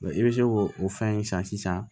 i bɛ se k'o o fɛn in san sisan